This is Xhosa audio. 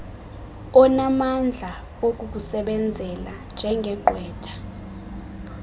onamandla okukusebenzela njengegqwetha